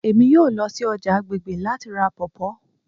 Emi yoo lọ si ọja agbegbe lati ra pawpaw